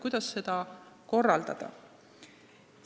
Kuidas seda korraldada?